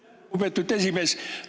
Aitäh, lugupeetud esimees!